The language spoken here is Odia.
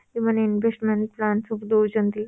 ଯୋଉମାନେ investment plan ସବୁ ଦଉଛନ୍ତି